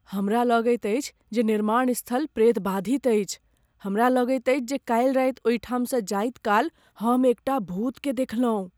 हमरा लगैत अछि जे निर्माण स्थल प्रेतबाधित अछि। हमरा लगैत अछि जे काल्हि रात ओहिठाम सँ जाइत काल हम एकटा भूतकेँ देखलहुँ।